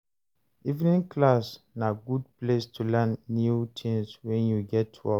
Evening class na good place to learn new tins wen you get work.